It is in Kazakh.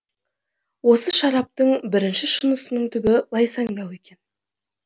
осы шараптың бірінші шынысының түбі лайсаңдау екен